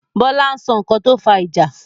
Bọlá ń sọ nkan tó fa ìjà